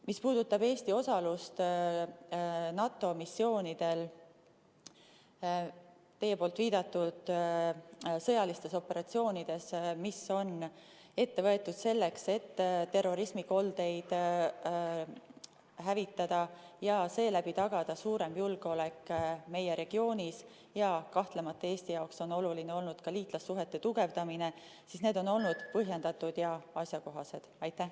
Mis puudutab Eesti osalust NATO missioonidel teie viidatud sõjalistes operatsioonides, mis on ette võetud selleks, et terrorismikoldeid hävitada ja seeläbi tagada suurem julgeolek meie regioonis, siis need on olnud põhjendatud ja asjakohased ja kahtlemata on Eesti jaoks olnud oluline ka liitlassuhete tugevdamine.